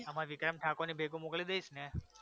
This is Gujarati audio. અમારે ખાલી વિક્રમ ઠાકોરની ક્લિપુ મોકલી દઈશને